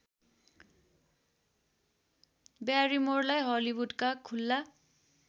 ब्यारिमोरलाई हलिउडका खुल्ला